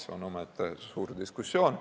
See on omaette suur diskussioon.